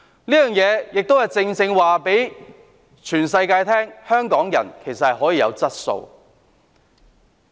這亦正正讓全世界知道，香港人其實是有質素的。